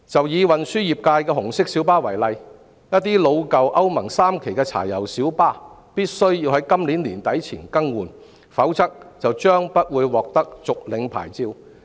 以運輸業界的紅色小巴為例，一些老舊歐盟 III 期柴油小巴必須在今年年底前更換，否則將不獲續牌。